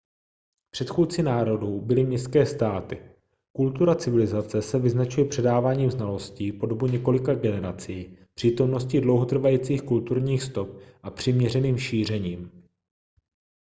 předchůdci národů byly městské státy kultura civilizace se vyznačuje předáváním znalostí po dobu několika generací přítomností dlouhotrvajících kulturních stop a přiměřeným šířením